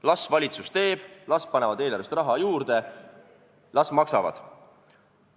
Las valitsus teeb, las panevad eelarvest raha juurde, las maksavad!